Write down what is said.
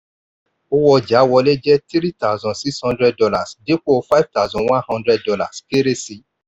owó ọjà wọlé jẹ three thousand six hundred dollars dípò five thousand one hundred dollars —kéré sí.